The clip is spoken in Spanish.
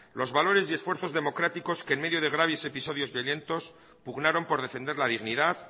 los valores y esfuerzos democráticos que en medio de graves episodios violentos pugnaron por defender la dignidad